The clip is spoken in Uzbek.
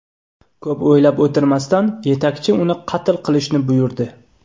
Ko‘p o‘ylab o‘tirmasdan, yetakchi uni qatl qilishni buyurdi.